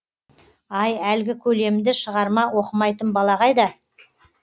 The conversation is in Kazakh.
ай әлгі көлемді шығарма оқымайтын бала қайда